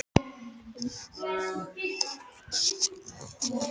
Á milli höfuðsins og hins hluta getnaðarlimsins er dálítil felling.